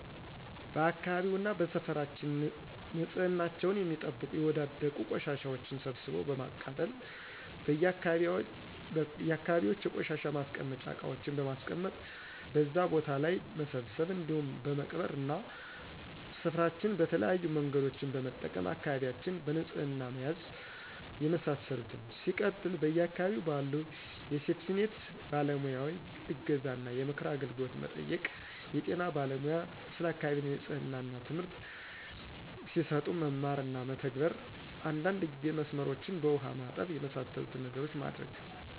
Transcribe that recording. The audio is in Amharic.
በአካባቢውና በሰፈራችን ንፅህናቸውን የሚጠብቁ የወዳደቁ ቆሻሻዎችን ሰብስቦ በማቃጠል: በየ አካባቢዎች የቆሻሻ ማስቀመጫ እቃዎችን በማስቀመጥ በዛ ቦታ ላይ መሰብሰብ እንዲሁም በመቅበር እና ሰፍራችን በተለያዬ መንገዶችን በመጠቀም አካባቢዎችን በንፅህና መያዝ የመሳሰሉትን። ሲቀጥል በየ አካባቢው ባሉ የሴፍቲኒት ባለሙያዎይ እገዛ እና የምክር አገልግሎት መጠየቅ። የጤና ባለሙያ ስለ አካባቢ ንፅህና ትምህርት ሲሰጡ መማር እና መተግበር። አንዳንድ ጊዜ መስመሮችን በውሃ ማጠብ። የመሳሰሉትን ነገሮች ማድረግ